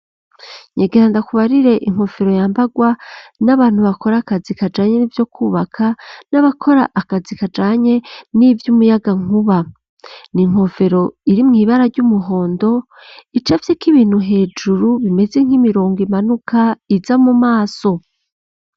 Nyegera ndakubarire inkofero yambagwa n'abantu bakora akazi kajanye n'ibyo kubaka n'abakora akazi kajanye n'iby'umuyaga nkuba ni inkofero iri mu ibara ry'umuhondo icafye k'ibintu hejuru bimeze nk'imirongo imanuka iza mu maso.